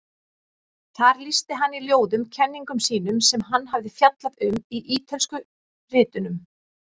Þar lýsti hann í ljóðum kenningum sínum sem hann hafði fjallað um í Ítölsku ritunum.